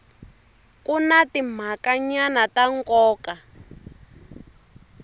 ku na timhakanyana ta nkoka